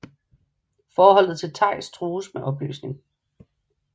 Forholdet til Teis trues med opløsning